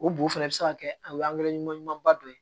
O bo fɛnɛ be se ka kɛ o ɲumanba dɔ ye